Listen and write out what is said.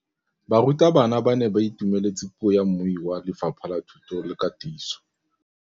Barutabana ba ne ba itumeletse puô ya mmui wa Lefapha la Thuto le Katiso.